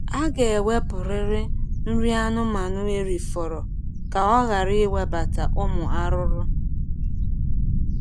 Aga ewepurịrị nri anụmanụ erifọrọ ka ọ ghara ịnwebata ụmụ arụrụ